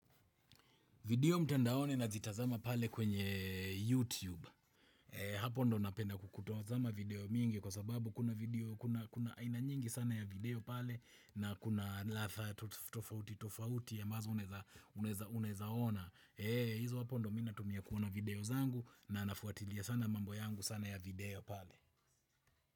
Video mtandaoni nazitazama pale kwenye YouTube. Hapo ndo napenda kutazama video mingi kwa sababu kuna video, kuna aina nyingi sana ya video pale na kuna ladha tofauti tofauti ambazo unaeza unaeza unaeza ona. Hizo hapo ndo mi natumia kuona video zangu na nafuatilia sana mambo yangu sana ya video pale.